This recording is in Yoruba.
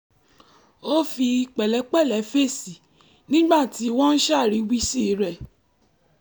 ó fi pẹ̀lẹ́pẹ̀lẹ́ fèsì nígbà tí wọ́n ń ṣàríwísí rẹ̀